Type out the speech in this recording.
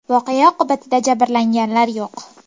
Voqea oqibatida jabrlanganlar yo‘q.